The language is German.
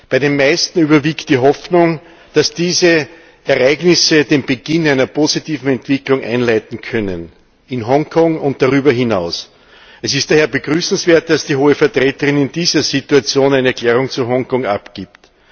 Bei den meisten überwiegt die Hoffnung, dass diese Ereignisse den Beginn einer positiven Entwicklung einleiten können, in Hongkong und darüber hinaus. Es ist daher begrüßenswert, dass die Hohe Vertreterin in dieser Situation eine Erklärung zu Hongkong abgibt.